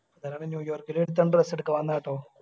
ഇന്നലെ ന്യൂയോര്ക്കില് ഒരുത്തൻ dress എടുക്കാൻ വന്ന ട്ടോ.